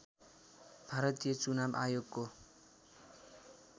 भारतीय चुनाव आयोगको